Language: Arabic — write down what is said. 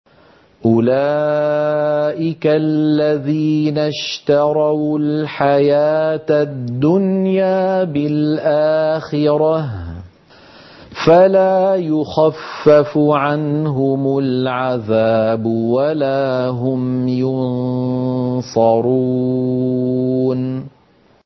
أُولَٰئِكَ الَّذِينَ اشْتَرَوُا الْحَيَاةَ الدُّنْيَا بِالْآخِرَةِ ۖ فَلَا يُخَفَّفُ عَنْهُمُ الْعَذَابُ وَلَا هُمْ يُنصَرُونَ